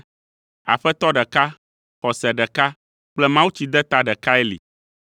Aƒetɔ ɖeka, xɔse ɖeka kple mawutsideta ɖekae li;